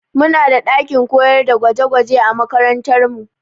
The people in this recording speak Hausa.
Mu na da ɗakin koyar da gwaje gwaje a makarantar mu